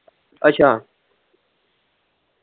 ਅੱਛਾ।